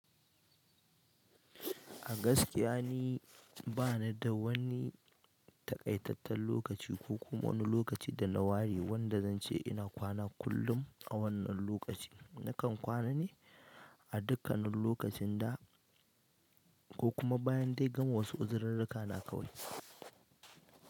A gaskiya ni bani da wani takaitatten lokaci ko kuma wani lokaci da na ware wanda zan ce ina kwana kullum a wannan lokaci. Nakan kwana ne a dukkanin lokacin da ko kuma bayan dai gama wasu uzirirrika na kawai.